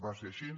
va ser així